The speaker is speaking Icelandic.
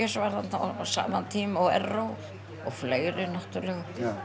var þarna á sama tíma og Erró og fleiri náttúrulega